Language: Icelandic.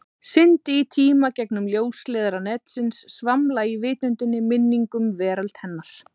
Syndi í tíma, gegnum ljósleiðara netsins, svamla í vitundinni, minningum, veröld hennar.